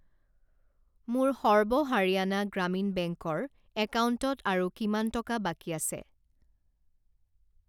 মোৰ সৰ্ব হাৰিয়ানা গ্ৰামীণ বেংকৰ একাউণ্টত আৰু কিমান টকা বাকী আছে?